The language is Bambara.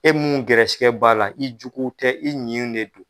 E mun gɛrɛsigɛ b'a la, i juguw tɛ, i ɲin de don.